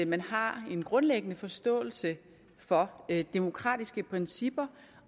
man har en grundlæggende forståelse for demokratiske principper